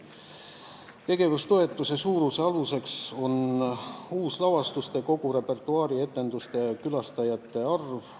Tegevustoetuse suuruse aluseks on uuslavastuste ja kogu repertuaari etenduste ja külastajate arv.